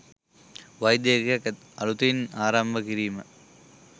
වෛද්‍ය ඒකකයක් අලුතින් ආරම්භ කිරීම